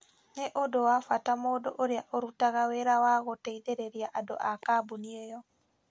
Nĩ ũndũ wa bata mũndũ ũrĩa ũrutaga wĩra wa gũteithĩrĩria andũ a kambuni ĩyo,